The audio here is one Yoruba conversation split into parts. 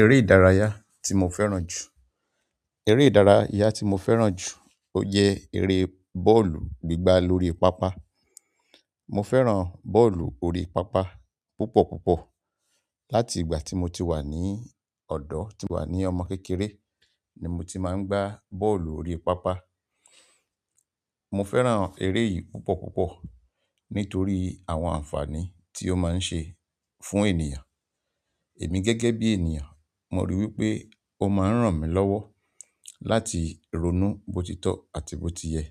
Eré ìdárayá tí mo fẹ́ràn jù. Ere ìdárayá ti mo fẹ́ràn ju o je ere bọ́ọ̀lù gbigba lórí paapaa. Mo fẹ́ràn bọ́ọ̀lù orí pápá púpọ̀ púpọ̀. Láti ìgbà tí mo ti wà ní ọ̀dọ̀, ti wà ní ọmọ kékeré ni mo ti máa ń gbá bọ́ọ̀lù orí pápá. Mo fẹ́ràn eré yìí púpọ̀ púpọ̀ nítorí àwọn àǹfààní tí ó máa ń ṣe fún ènìyàn. Èmi gẹ́gẹ́ bí ènìyàn, mo ríi wí pé ó máa ń ràn mí lọ́wọ́ láti ronú bó ti tọ́ àti bó ti yẹ.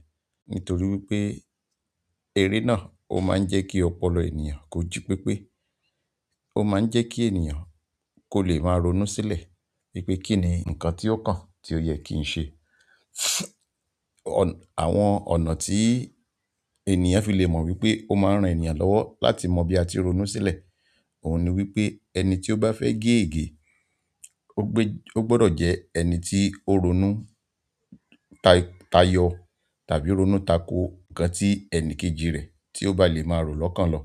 Nítorí wí pé eré náà ó máa ń jẹ́ kí ọpọlọ ènìyàn kó jí pépé. Ó máa ń jẹ́ kí ènìyàn kó lè máa ronú sílẹ̀ wípé kínni nǹkan tí ó kàn tí ó yẹ kí ń ṣe. Àwọn ọ̀nà ti èniyán fi le mo wípé o maa n ran èniyán lọwọ láti mo bi a ti ronú sile. Òun ni wípé ẹni tí ó bá fẹ́ gé ègé, ó gbe-- ó gbọdọ̀ jẹ ẹni tí ó ronú ta-tayọ̀ tàbí ronú tako nǹkan tí ẹni kejì rẹ tí ó bá lè máa rò lọ́kàn lọ.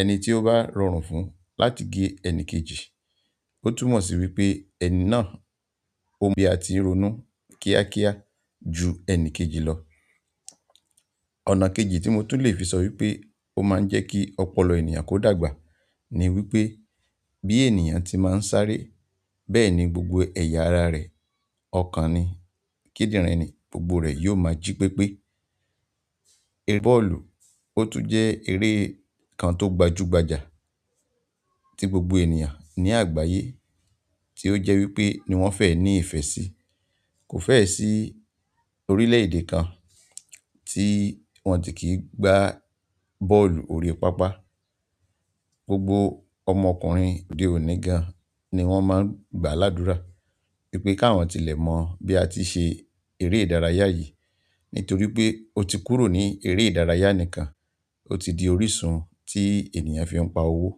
Ẹni tí ó bá rọrùn fún un láti gé ẹni kejì, ó túmọ̀ sí wí pé ẹni náà ó mọ bí a ti ń ronú kíákíá ju ẹni kejì lọ. Ọ̀nà kejì tí mo tún lè fi sọ wípé ó máa ń jẹ́ kí ọpọlọ ènìyàn kó dàgbà ni wípé bí ènìyàn tí máa ń sáré, bẹ́ẹ̀ ni gbogbo ẹ̀yà ara rẹ̀ ọ̀kan ni, kídírini gbogbo rẹ̀ yóò máa jí pépé. Eré bọ́ọ̀lù ó tún jẹ́ eré kan tó gbajúgbajà tí gbogbo ènìyàn ní àgbáyé tí ó jẹ́ wípé ni wọ́n fẹ́ ní ìfẹ́ sí. Kò fẹ́ẹ̀ sí orílẹ̀-èdè kan tí wọ́n ti kì í gbá bọ́ọ̀lù orí pápá. Gbogbo ọmọkùnrin dè ó ní gan ni wọ́n máa ń gba ládúrà wípé káwọn tilẹ̀ mọ̀ bí a ti ṣe eré ìdárayá yìí. Nítorí pé ó ti kúrò ní eré ìdárayá nìkan, ó ti di orísun tí ènìyàn fi ń pa owó.